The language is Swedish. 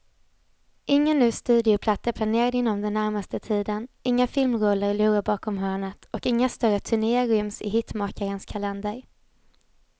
Ingen ny studioplatta är planerad inom den närmaste tiden, inga filmroller lurar bakom hörnet och inga större turnéer ryms i hitmakarens kalender.